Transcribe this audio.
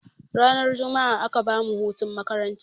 Ranar jumma'a aka bamu hutun makaranta.